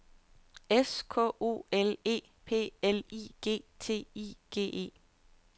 S K O L E P L I G T I G E